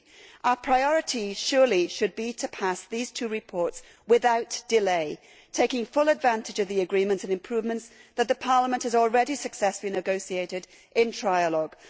3. Our priority surely should be to pass these two reports without delay, taking full advantage of the agreements and improvements that the Parliament has already successfully negotiated in trialogue.